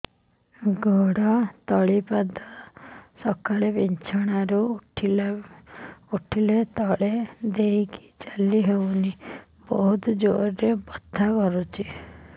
ଗୋଡ ତଳି ପାଦ ସକାଳେ ବିଛଣା ରୁ ଉଠିଲେ ତଳେ ଦେଇକି ଚାଲିହଉନି ବହୁତ ଜୋର ରେ ବଥା କରୁଛି